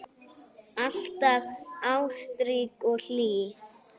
Alltaf ástrík og hlý.